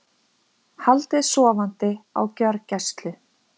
Haldið sofandi á gjörgæslu